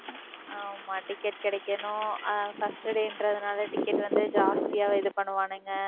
ஆமா, ticket கிடைக்கணும். ஆஹ் first day ன்றதுனால, ticket வந்து, ஜாஸ்தியாவே இது பண்ணுவானுங்க.